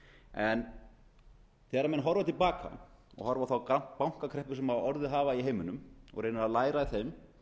en þegar menn horfa til baka og horfa á þær bankakreppur sem orðið hafa í heiminum og reyna að læra af þeim